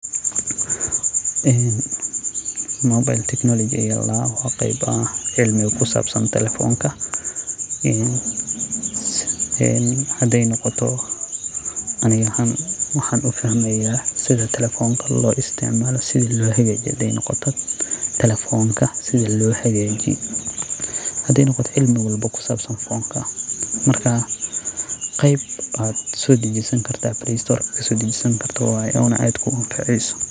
Mobile technology aya ladaha wuxu kayahay cilmiga kusabsan telefonka, aniga ahaan waxan ufahmaya sida telefon loisticmalo sida lohagajiyo telefonka, hadey noqoto sida loisticmalo telefonka marka cilmi waye hada ubahato kasodajisani karto blay storka.